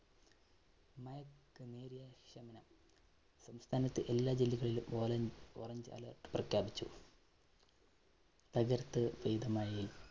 സംസ്ഥാനത്ത് എല്ലാ ജില്ലകളിലും orange, orange alert പ്രഖ്യാപിച്ചു. തകര്‍ത്ത് പെയ്ത മഴയില്‍